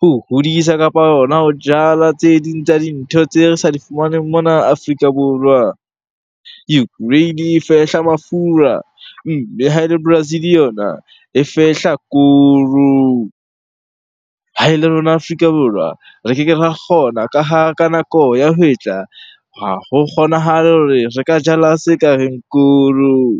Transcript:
ho hodisa kapa hona ho jala tse ding tsa dintho tse re sa di fumaneng mona Afrika Borwa. Ukraine e fehla mafura, mme ha ele Brazil yona e fehla koro. Ha ele rona Afrika Borwa re keke ra kgona ka ha ka nako ya hwetla, ha ho kgonahale hore re ka jala se ka reng koro.